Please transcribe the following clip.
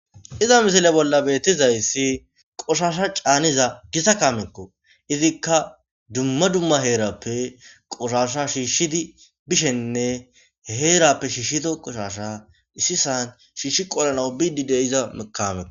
iza misile bolla bettizayssi qoshasha caaniza gisa kamekko izikka dumma dumma heerappe qoshasha shiishshidi bishenne heerappe shiishito qoshasha issi san shiishi qolana bididy iza mekameo